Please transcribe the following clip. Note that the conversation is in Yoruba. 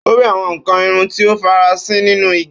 Ó rí àwọn nkan irin tí ó farasin nínú igi.